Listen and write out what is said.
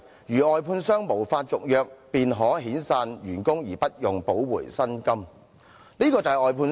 外判商如無法續約，便可遣散員工而無需補償遣散費。